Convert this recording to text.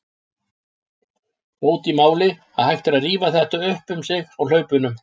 Bót í máli að hægt er að rífa þetta upp um sig á hlaupunum.